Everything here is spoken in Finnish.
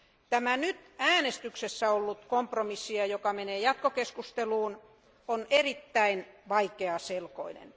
Tämä nyt äänestyksessä ollut kompromissi, joka menee jatkokeskusteluun, on erittäin vaikeaselkoinen.